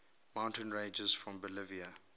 mountain ranges of bolivia